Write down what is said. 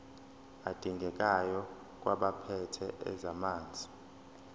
adingekayo kwabaphethe ezamanzi